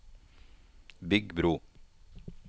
bygg bro